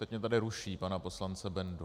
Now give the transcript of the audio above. Teď mě tady ruší, pana poslance Bendu.